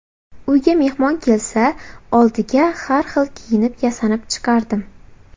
Uyga mehmon kelsa, oldiga har xil kiyinib, yasanib chiqardim.